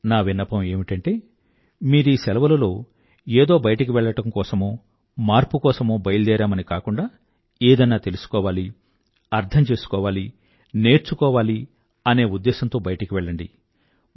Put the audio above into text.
నా విన్నపం ఏమిటంటే మీరీ సెలవులలో ఏదో బయటకు వెళ్ళడం కోసమో మార్పు కోసమో బయల్దేరామని కాకుండా ఏదన్నా తెలుసుకోవాలి అర్థం చేసుకోవాలి నేర్చుకోవాలి అనే ఉద్దేశంతో బయటకు వెళ్లండి